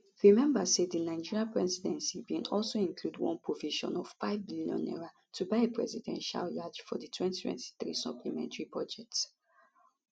remember say di nigerian presidency bin also include one provision of five billion naira to buy a presidential yacht for di 2023 supplementary budget